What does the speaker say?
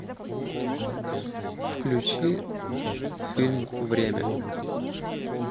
включи фильм время